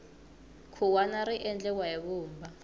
khuwani ri endliwa hi vumba